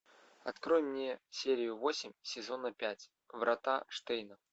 открой мне серию восемь сезона пять врата штейна